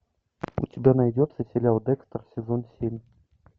у тебя найдется сериал декстер сезон семь